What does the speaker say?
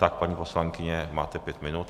Tak, paní poslankyně, máte pět minut.